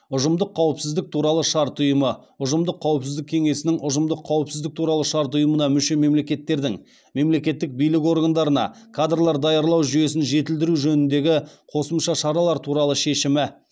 ұжымдық қауіпсіздік туралы шарт ұйымы ұжымдық қауіпсіздік кеңесінің ұжымдық қауіпсіздік туралы шарт ұйымына мүше мемлекеттердің мемлекеттік билік органдарына кадрлар даярлау жүйесін жетілдіру жөніндегі қосымша шаралар туралы шешімі